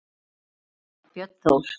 Barn þeirra er Björn Þór.